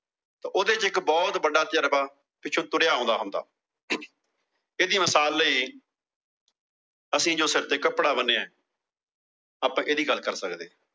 ਤੇ ਉਹਦੇ ਚ ਇੱਕ ਬਹੁਤ ਵੱਡਾ ਤਜਰਬਾ, ਪਿੱਛੋਂ ਤੁਰਿਆ ਆਉਂਦਾ ਹੁੰਦਾ। ਇਹਦੀ ਮਿਸਾਲ ਲਈ ਅਸੀਂ ਜੋ ਸਿਰ ਤੇ ਕੱਪੜਾ ਬੰਨਿਆ ਆਪਾਂ ਇਹਦੀ ਗੱਲ ਕਰ ਸਕਦੇ ਆਂ।